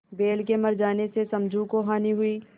बैल के मर जाने से समझू को हानि हुई